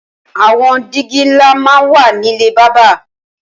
Awọn dìgí nlá mà n wà nilé bàbà